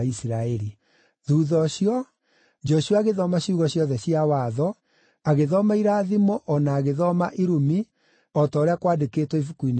Thuutha ũcio, Joshua agĩthoma ciugo ciothe cia Watho, agĩthoma irathimo o na agĩthoma irumi, o ta ũrĩa kwaandĩkĩtwo Ibuku-inĩ rĩa Watho.